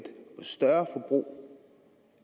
større forbrug